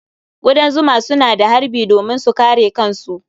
Ƙudan zuma suna harbi domin su kare kansu.